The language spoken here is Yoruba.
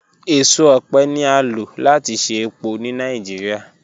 Eso ọpẹ ni a lo lati ṣe epo ni Nigeria